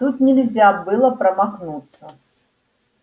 тут нельзя было промахнуться